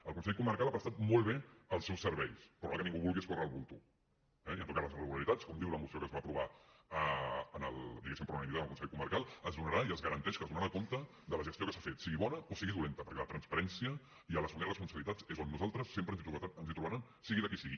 el consell comarcal ha prestat molt bé els seus serveis però ara que ningú vulgui escórrer el bulto eh i en tot cas les irregularitats com diu la moció que es va aprovar diguéssim per unanimitat en el consell comarcal es donarà i es garanteix que es donarà compte de la gestió que s’ha fet sigui bona o sigui dolenta perquè la transparència i assumir responsabilitats és on nosaltres sempre ens hi trobaran sigui de qui sigui